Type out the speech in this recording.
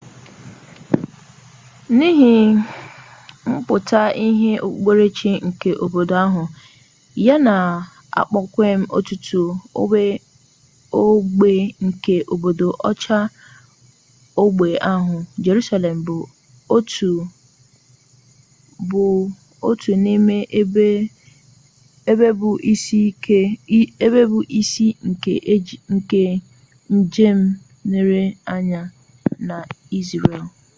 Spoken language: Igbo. nihi mputa-ihe okpukpere-chi nke mba ahu ya na kpom-kwem otutu ogbe nke obodo ochie ogbe ahu jerusalem bu ot nime ebe bu isi nke njem-nlere-anya na israel